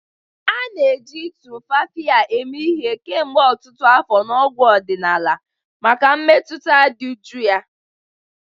A na-eji Tumfafiya emee ihe kemgbe ọtụtụ afọ na ọgwụ ọdịnala maka mmetụta dị jụụ ya.